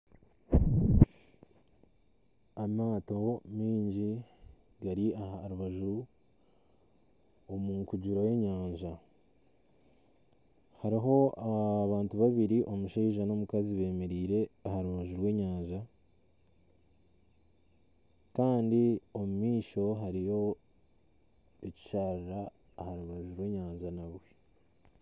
Amato maingi gari aha rubaju omu nkugiro y'enyanja hariho abantu babiri omushaija n'omukazi beemereire aha rubaju rw'enyanja kandi omu maisho hariyo ekisharara aha rubaju rw'enyanja